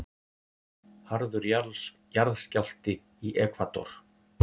Harður jarðskjálfti í Ekvador